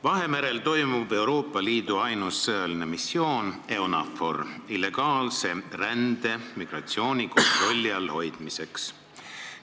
Vahemerel toimub Euroopa Liidu ainus sõjaline missioon EUNAVFOR illegaalse rände, migratsiooni kontrolli all hoidmiseks.